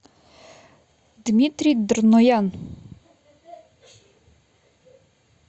дмитрий дрноян